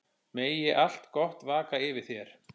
Megi allt gott vaka yfir þér.